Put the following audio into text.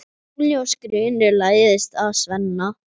Óljós grunur læðist að Svenna.